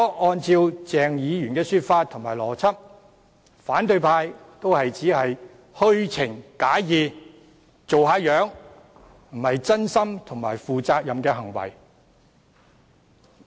按照鄭議員的說法和邏輯，反對派亦只是虛情假意，惺惺作態，並非真心和負責任的行為。